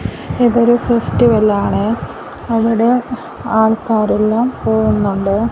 ഇതൊരു ഫെസ്റ്റിവൽ ആണ് അവിടെ ആൾക്കാരെല്ലാം പോകുന്നുണ്ട്.